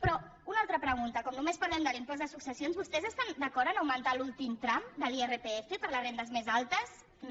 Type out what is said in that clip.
però una altra pregunta com només parlem de l’impost de successions vostès estan d’acord a augmentar l’últim tram de l’irpf per a les rendes més altes no